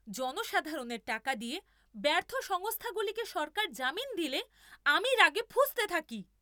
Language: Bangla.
জনসাধারণের টাকা দিয়ে ব্যর্থ সংস্থাগুলিকে সরকার জামিন দিলে আমি রাগে ফুঁসতে থাকি।